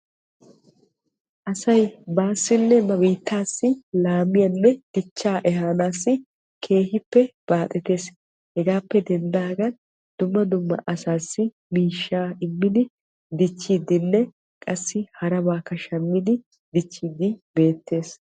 Asay baasinne ba biittassi laamiya ehaanassi keehippe baaxettees. Hegaasi loytti oottiddinne baaxettidde beetees.